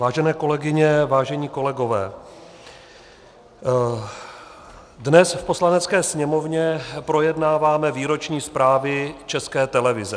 Vážené kolegyně, vážení kolegové, dnes v Poslanecké sněmovně projednáváme výroční zprávy České televize.